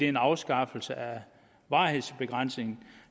en afskaffelse af varighedsbegrænsningen